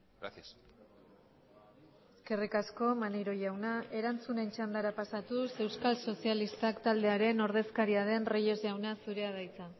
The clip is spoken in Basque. gracias eskerrik asko maneiro jauna erantzunen txandara pasatuz euskal sozialistak taldearen ordezkaria den reyes jauna zurea da hitza